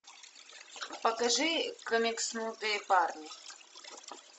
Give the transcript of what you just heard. покажи комикснутые парни